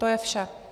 To je vše.